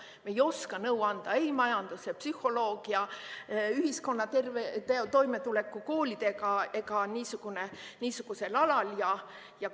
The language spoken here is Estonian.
Me ei oska nõu anda ei majanduse, psühholoogia, ühiskonna toimetuleku, koolide ega muu niisuguse kohta.